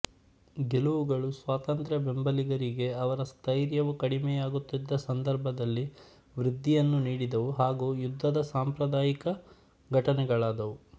ಗೆಲವುಗಳು ಸ್ವಾತಂತ್ರ್ಯ ಬೆಂಬಲಿಗರಿಗೆ ಅವರ ಸ್ಥೈರ್ಯವು ಕಡಿಮೆಯಾಗುತ್ತಿದ್ದ ಸಂದರ್ಭದಲ್ಲಿ ವೃದ್ಧಿಯನ್ನು ನೀಡಿದವು ಹಾಗೂ ಯುದ್ಧದ ಸಾಂಪ್ರದಾಯಿಕ ಘಟನೆಗಳಾದವು